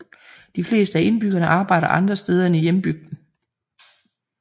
De fleste af indbyggerne arbejder andre steder end i hjembygden